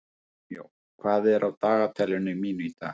Rómeó, hvað er á dagatalinu mínu í dag?